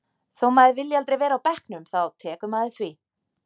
Þó maður vilji aldrei vera á bekknum þá tekur maður því.